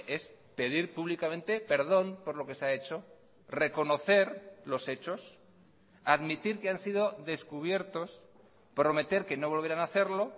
es pedir públicamente perdón por lo que se ha hecho reconocer los hechos admitir que han sido descubiertos prometer que no volverán hacerlo